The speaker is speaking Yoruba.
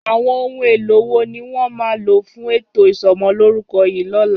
Àwọn ohun èlò wo ni wọ́n máa lò fún ètò isọmọlúrúkọ yìí lọ́la?